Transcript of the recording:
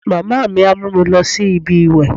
Màmá mi á mú mi lọ síbi ìwèé